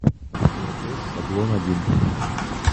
платеж шаблон один